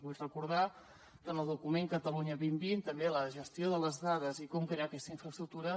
vull recordar que en el document catalunya dos mil vint també la gestió de les dades i com crear aquesta infraestructura